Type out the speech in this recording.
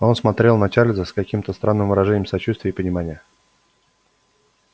он смотрел на чарльза с каким-то странным выражением сочувствия и понимания